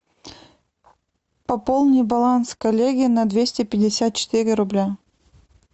пополни баланс коллеги на двести пятьдесят четыре рубля